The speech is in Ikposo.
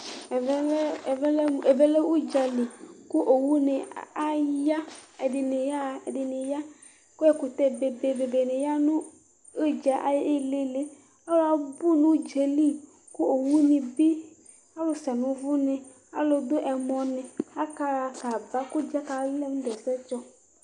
Ɛvɛ lɛ udzali ku owu nu aya ɛdini yaɣa ɛdini ya ku ɛkutɛ bebe dini ya nu udza ayu ili alu abu nu udzali ku owuni bi alu se nu uvú alu du ɛmɔ ni akaɣa kaba nadu ɛsɛtsɔ